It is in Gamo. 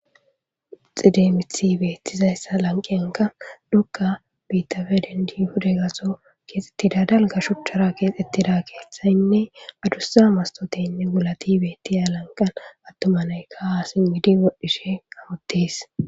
Xideemithi beettizayssa lanqiyanka nukka biittafe dendiyuhuda gaso keexxettida dalga shuchchara keexettida keeththayinne adussa mastoteynne gulati betiya lanqan attuma naykkaha simmidi odhishe awutes.